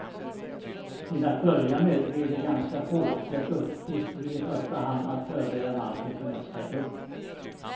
Till att börja med blir de ganska få och deras uppgift blir i första hand att förbereda marken för nästa grupp.